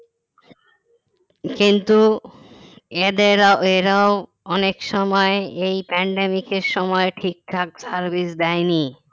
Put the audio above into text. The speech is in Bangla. কিন্তু এদেরও এরাও অনেক সময় এই pandemic এর সময় ঠিক ঠকা service দেয় নি